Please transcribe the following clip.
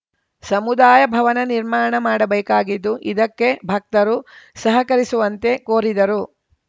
ಸಮುದಾಯ ಭವನ ನಿರ್ಮಾಣ ಮಾಡಬೇಕಾಗಿದ್ದು ಇದಕ್ಕೆ ಭಕ್ತರು ಸಹಕರಿಸುವಂತೆ ಕೋರಿದರು